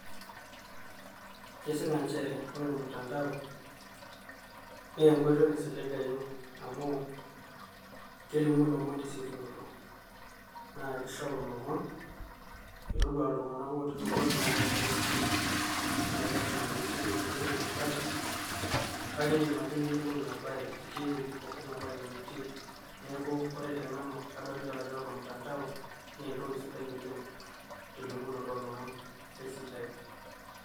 Kesipa nchere ore olmutandao naa enkoitoi naisiligayu amu kelimu ilomon te siokinoto. Naa keishoru lomon metoduaa iltung`anak otii lubot napaasha o losho. Mme lazima pee itii ine pee iyolou ina bae kake idim ake niyiolou ina bae itii ewueji naba enaa entii. Niaku ore te nanu naa ore olmutandao naa entoki sidai oleng telimunoto oo lomon e eisidai.